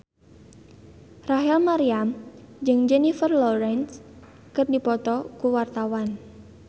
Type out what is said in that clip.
Rachel Maryam jeung Jennifer Lawrence keur dipoto ku wartawan